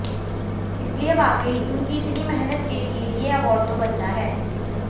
इसलिए वाकई उनकी इतनी मेहनत के लिए ये अवार्ड तो बनता है